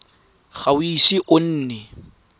ga o ise o nne